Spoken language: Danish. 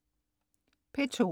P2: